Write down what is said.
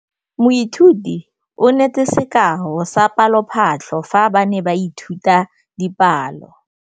Moithuti o neetse sekaô sa palophatlo fa ba ne ba ithuta dipalo.